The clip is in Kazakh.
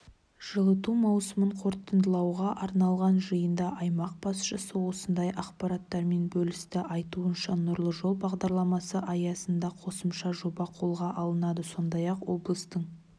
жылыту маусымын қорытындылауға арналған жиында аймақ басшысы осындай ақпараттармен бөлісті айтуынша нұрлы жол бағдарламасы аясында қосымша жоба қолға алынады сондай-ақ облыстың